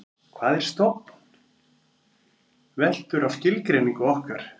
hvað er stofn veltur á skilgreiningu okkar